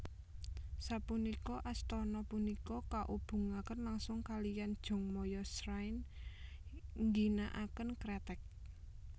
Sapunika astana punika kaubungaken langsung kaliyan Jongmyo Shrine nggginakaken kreteg